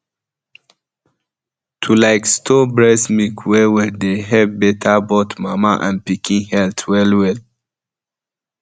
to like store breast milk well dey help better both mama and pikin health wellwell